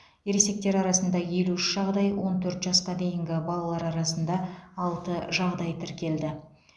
ересектер арасында елу үш жағдай он төрт жасқа дейінгі балалар арасында алты жағдай тіркелді